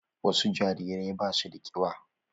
Wasu jarirai ba su da ƙiba